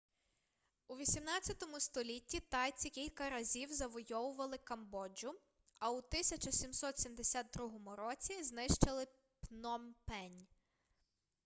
у 18 столітті тайці кілька разів завойовували камбоджу а у 1772 році знищили пномпень